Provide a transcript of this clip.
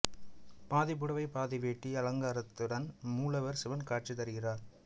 பாதி புடவை பாதி வேட்டி அலங்காரத்துடன் மூலவர் சிவன் காட்சி தருகிறார்